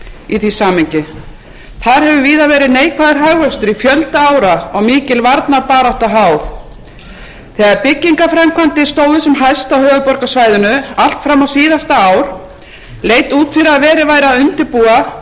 í því samhengi þar hefur víða verið neikvæður hagvöxtur í fjölda ára og mikil varnarbarátta háð þegar byggingarframkvæmdir stóðu sem hæst á höfuðborgarsvæðinu allt fram á síðasta ár leit út fyrir að verið væri að undirbúa